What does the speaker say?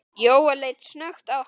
Jóel leit snöggt á hana.